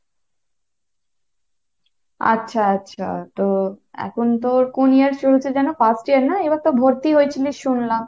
আচ্ছা আচ্ছা, তো এখন তো কোন year শুরু হয়েছে যেন first year না, এবার তো ভর্তি হয়েছিলো শুনলাম।